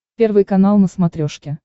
первый канал на смотрешке